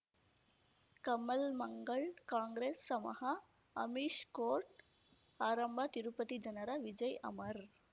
ಕಮಲ್ ಮಂಗಳ್ ಕಾಂಗ್ರೆಸ್ ನಮಃ ಅಮಿಷ್ ಕೋರ್ಟ್ ಆರಂಭ ತಿರುಪತಿ ಜನರ ವಿಜಯ್ ಅಮರ್